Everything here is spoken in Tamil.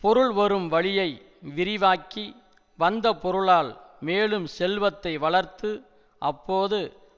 பொருள் வரும் வழியை விரிவாக்கி வந்த பொருளால் மேலும் செல்வத்தை வளர்த்து அப்போது